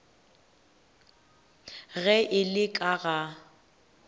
ge e le ka ga